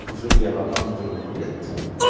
влево андроид